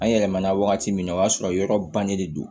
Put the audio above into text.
An yɛlɛmana wagati min na o y'a sɔrɔ yɔrɔ bannen de don